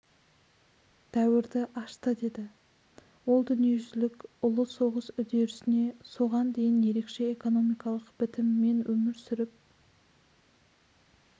дәуірді ашты деді ол дүниежүзілік ұлы соғыс үдерісіне соған дейін ерекше экономикалық бітімімен өмір сүріп